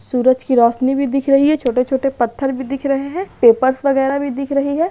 सूरज की रोशनी भी दिख रही है छोटे-छोटे पत्थर भी दिख रहे हैं पेपर्स वगैरा भी दिख रही है।